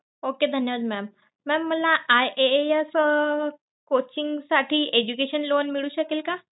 Okay धन्यवाद mam mam मला IAAS coaching साठी education loan मिळू शकेल का?